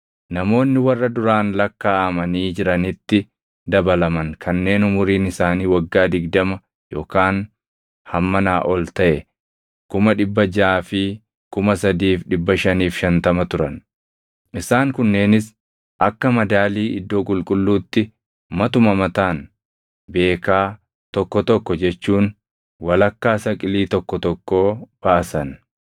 Namoonni warra duraan lakkaaʼamanii jiranitti dabalaman kanneen umuriin isaanii waggaa digdama yookaan hammanaa ol taʼe 603,550 turan. Isaan kunneenis akka madaalii iddoo qulqulluutti matuma mataan beekaa + 38:26 Beekaan tokko giraamii 7. tokko tokko jechuun walakkaa saqilii tokko tokkoo baasan.